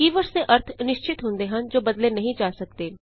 ਕੀ words ਦੇ ਅਰਥ ਨਿਸ਼ਚਿਤ ਹੁੰਦੇ ਹਨ ਜੋ ਬਦਲੇ ਨਹੀਂ ਜਾ ਸਕਦੇ